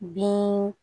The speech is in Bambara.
Bin